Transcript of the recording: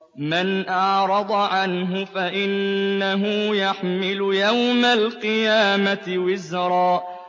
مَّنْ أَعْرَضَ عَنْهُ فَإِنَّهُ يَحْمِلُ يَوْمَ الْقِيَامَةِ وِزْرًا